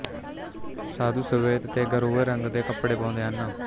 ਸਾਧੂ ਸ਼ਵੇਤ ਤੇ ਗੇਰੂਏ ਰੰਗ ਦੇ ਕਪੜੇ ਪਾਉਂਦੇ ਹਨ